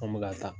An bɛ ka taa